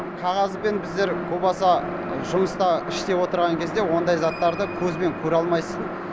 қағазбен біздер о баста жұмыста іште отырған кезде ондай заттарды көзбен көре алмайсың